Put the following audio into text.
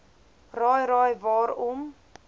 raai raai waarom